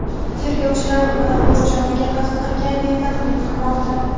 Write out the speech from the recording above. Tergovchilar ular o‘z joniga qasd qilgan deya taxmin qilmoqda.